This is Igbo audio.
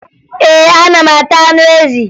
Ee, ana m ata anụ ezi